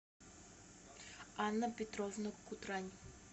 анна петровна кутрань